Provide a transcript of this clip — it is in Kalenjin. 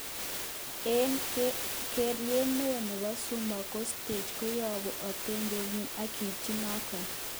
Eng keeret neo nebo Zuma kostoge koyobu otebe nyin ak kapchi noton